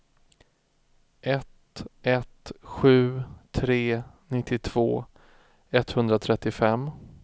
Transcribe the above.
ett ett sju tre nittiotvå etthundratrettiofem